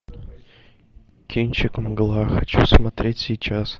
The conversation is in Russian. кинчик мгла хочу смотреть сейчас